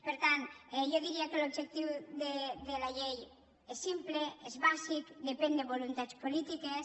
per tant jo diria que l’objectiu de la llei és simple és bàsic depèn de voluntats polítiques